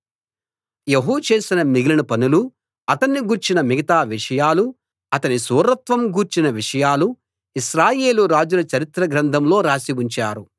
యెహూ చేసిన మిగిలిన పనులూ అతణ్ణి గూర్చిన మిగతా విషయాలూ అతని శూరత్వం గూర్చిన విషయాలూ ఇశ్రాయేలు రాజుల చరిత్ర గ్రంథంలో రాసి ఉంచారు